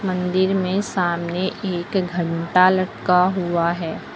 मंदिर में सामने एक घंटा लटका हुआ है।